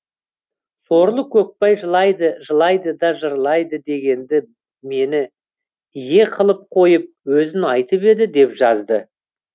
сорлы көкбай жылайды жылайды да жырлайды дегенді мені ие қылып қойып өзін айтып еді деп жазды